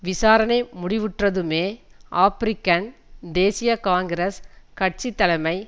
விசாரணை முடிவுற்றதுமே ஆபிரிக்கன் தேசிய காங்கிரஸ் கட்சி தலைமை